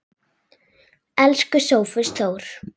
Elsku Sófus Þór.